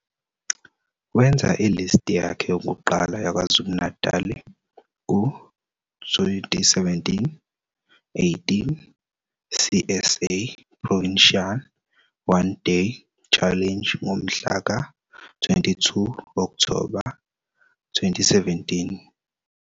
Wenza i-List yakhe yokuqala yaKwaZulu-Natali ku- 2017-18 CSA Provincial One-Day Challenge ngomhla ka-22 Okthoba 2017.